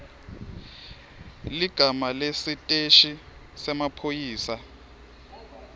ligama lesiteshi semaphoyisa